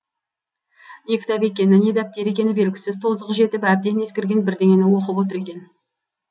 не кітап екені не дәптер екені белгісіз тозығы жетіп әбден ескірген бірдеңені оқып отыр екен